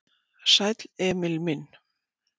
"""Sæll, Emil minn."""